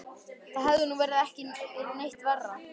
Það hefði nú ekki verið neitt verra.